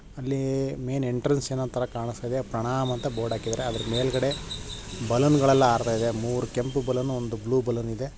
ಅಲ್ಲಿ main entrance ಏನೋ ಥರ ಕಾಣಸ್ತಾಯಿದೆ ಪ್ರಣಾಮ್ ಅಂತ ಬೋರ್ಡ್ ಹಾಕಿದಾರೆ ಅದರ ಮೇಲಗಡೆ ಬಲೂನ್ ಗಳೆಲ್ಲ ಹಾರ್ತಾಯಿದೆ ಮೂರೂ ಕೆಂಪು ಬಲೂನ್ ಒಂದು ಬ್ಲೂ ಬಲೂನ್ ಇದೆ